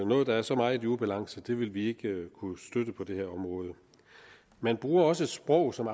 noget der er så meget i ubalance vil vi ikke kunne støtte på det her område man bruger også et sprog som